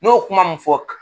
N'o kuma mun fɔ